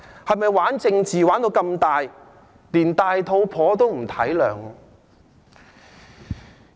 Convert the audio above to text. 是否"玩"政治要玩得這麼大，連孕婦也不體諒呢？